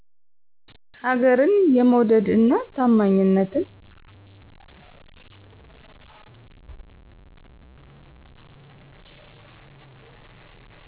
ሀገርን የመዉደድ እና አማኝነትን!